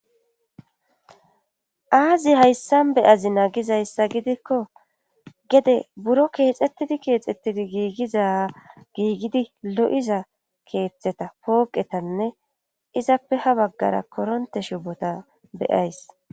Azi hayssan beyazi nagizayssa gidikko gede buro keexettidi keexettidi giigiza giigidi lo7iza keeththeta pooqetanne izappe ha baggara koronte shubota beyays.